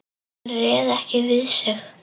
Hann réð ekki við sig.